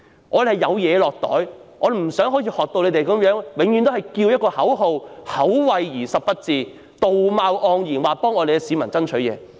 我們希望有好處"落袋"，不想永遠只是呼叫口號，口惠而實不至，道貌岸然地說為市民爭取。